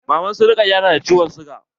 Maman su Rukaya na da ciwon siga.